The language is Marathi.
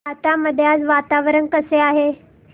राहता मध्ये आज वातावरण कसे आहे